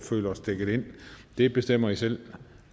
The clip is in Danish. føler sig dækket ind det bestemmer i selv